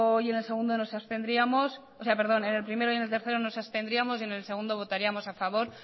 y en el tercero nos abstendríamos y en el segundo votaríamos a favor